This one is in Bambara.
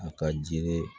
A ka jiri